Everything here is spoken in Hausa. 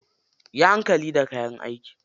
Yi hankali da kayan aiki.